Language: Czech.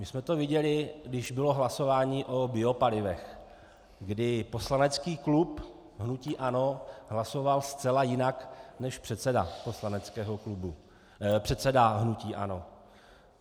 My jsme to viděli, když bylo hlasování o biopalivech, kdy poslanecký klub hnutí ANO hlasoval zcela jinak než předseda hnutí ANO.